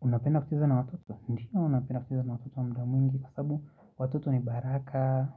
Unapenda kucheza na watoto. Ndio napenda kucheza na watoto muda mwingi kwasababu watoto ni baraka.